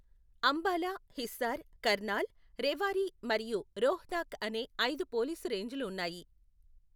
అంబాలా, హిస్సార్, కర్నాల్, రెవారీ మరియు రోహ్తక్ అనే ఐదు పోలీసు రేంజ్లు ఉన్నాయి.